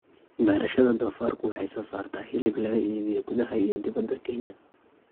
Beerashada doofaarku waxay soo saartaa hilib laga iibiyo gudaha iyo dibadda Kenya.